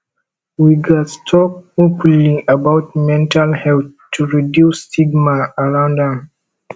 we gats talk openly about mental health to reduce stigma around am